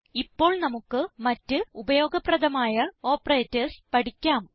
ഇപ്പോൾ നമുക്ക് മറ്റ് ഉപയോഗ പ്രധമായ ഓപ്പറേറ്റർസ് പഠിക്കാം